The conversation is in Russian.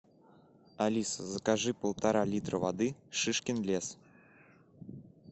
алиса закажи полтора литра воды шишкин лес